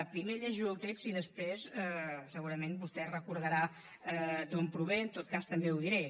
primer llegeixo el text i després segurament vostè recordarà d’on prové en tot cas també ho diré